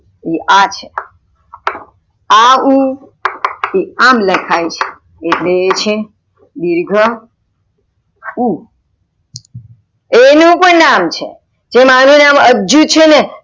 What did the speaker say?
એ આ છે, આ ઉ આમ એ લખાય છે એટલે એ છે દિર્ઘ ઉ, એનું પણ નામ છે જેમ અનુ નામ અજુ છે ને.